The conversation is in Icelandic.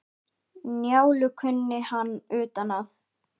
Njálu kunni hann utan að.